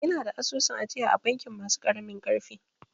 Ina da asusun ajiya a bankin masu ƙaramin ƙarfi